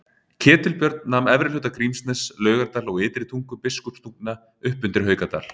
Ketilbjörn nam efri hluta Grímsness, Laugardal og Ytri tungu Biskupstungna upp undir Haukadal.